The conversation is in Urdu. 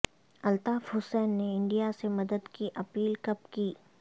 الطاف حسین نے انڈیا سے مدد کی اپیل کب کی